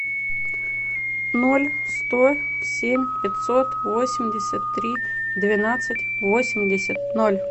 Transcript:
ноль сто семь пятьсот восемьдесят три двенадцать восемьдесят ноль